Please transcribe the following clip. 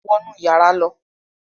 Wọ̀ nú yàrà ló!